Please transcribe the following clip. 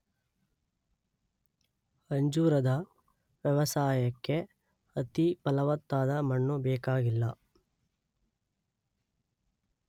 ಅಂಜೂರದ ವ್ಯವಸಾಯಕ್ಕೆ ಅತಿ ಫಲವತ್ತಾದ ಮಣ್ಣು ಬೇಕಾಗಿಲ್ಲ